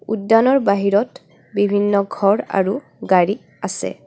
উদ্যানৰ বাহিৰত বিভিন্ন ঘৰ আৰু গাড়ী আছে.